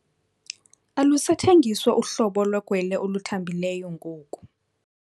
Alusathengiswa uhlobo lwegwele oluthanbileyo ngoku.